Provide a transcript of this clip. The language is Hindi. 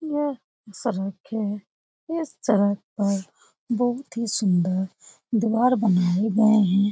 यह सड़क है इस सड़क पर बहुत ही सुंदर द्वार बनाए गए हैं।